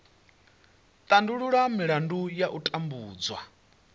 tandulula milandu ya u tambudzwa